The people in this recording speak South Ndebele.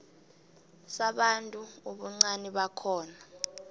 sabantu ubuncani bakhona